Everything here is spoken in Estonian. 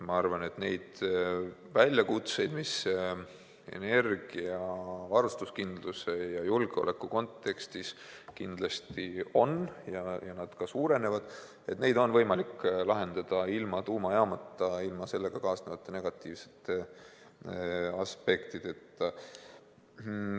Ma arvan, et neid väljakutseid, mida energiavarustuskindluse ja -julgeoleku kontekstis kindlasti on – ja need ka suurenevad –, neid on võimalik lahendada ilma tuumajaama ja sellega kaasnevate negatiivsete aspektideta.